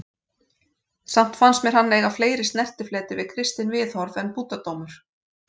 Samt fannst mér hann eiga fleiri snertifleti við kristin viðhorf en búddadómur.